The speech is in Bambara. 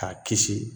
K'a kisi